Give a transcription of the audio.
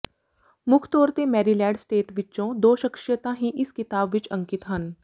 ਮੁੱਖ ਤੋਰ ਤੇ ਮੈਰੀਲੈਡ ਸਟੇਟ ਵਿੱਚੋਂ ਦੋ ਸ਼ਖ਼ਸੀਅਤਾਂ ਹੀ ਇਸ ਕਿਤਾਬ ਵਿੱਚ ਅੰਕਿਤ ਹਨ